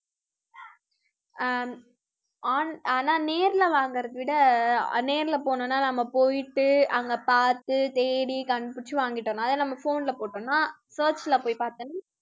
அஹ் உம் on~ ஆனா நேர்ல வாங்கறதை விட நேர்ல போனோம்னா நம்ம போயிட்டு அங்க பாத்து தேடி கண்டுபிடிச்சு வாங்கிட்டோம். அதாவது நம்ம phone ல போட்டோம்னா search ல போய் பாத்தேன்னா